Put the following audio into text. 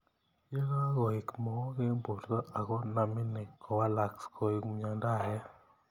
Ye kakoek mook eng borto ako namini kowaleksei koeku myendo ake.